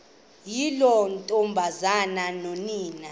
yiloo ntombazana nonina